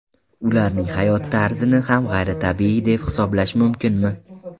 Ularning hayot tarzini ham g‘ayritabiiy deb hisoblash mumkinmi?